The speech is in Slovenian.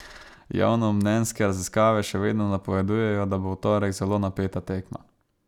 Javnomnenjske raziskave še vedno napovedujejo, da bo v torek zelo napeta tekma.